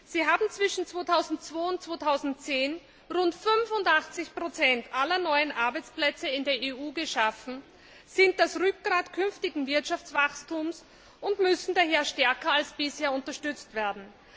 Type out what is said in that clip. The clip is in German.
Sie haben zwischen 2002 und 2010 rund fünfundachtzig Prozent aller neuen Arbeitsplätze in der EU geschaffen, sind das Rückgrat künftigen Wirtschaftswachstums und müssen daher stärker als bisher unterstützt werden.